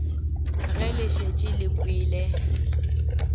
ge le šetše le kwele